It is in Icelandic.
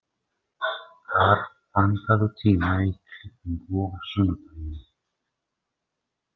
Kár, pantaðu tíma í klippingu á sunnudaginn.